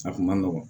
A kun ma nɔgɔn